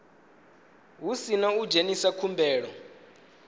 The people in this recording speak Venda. hu sina u dzhenisa khumbelo